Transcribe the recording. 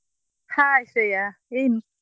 Hai Shreya ಏನು?